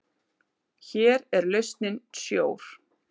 Hér er lausnin sjór.